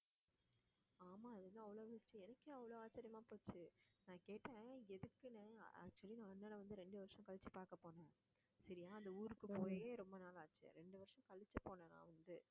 ஆமா அதுதான் அவ்வளவு விஷயம் எனக்கே அவ்வளவு ஆச்சரியமா போச்சு நான் கேட்டேன் எதுக்குண்ணே actually நான் அண்ணனை வந்து ரெண்டு வருஷம் கழிச்சு பார்க்க போனேன் சரியா அந்த ஊருக்கு போயி ரொம்ப நாள் ஆச்சு ரெண்டு வருஷம் கழிச்சு போனேன் நான் வந்து